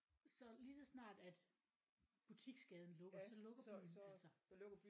Så lige så snart at butiksgaden lukker så lukker byen altså